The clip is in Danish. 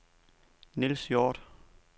Nils Hjort